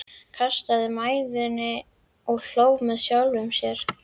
Kastaði mæðinni og hló með sjálfum sér.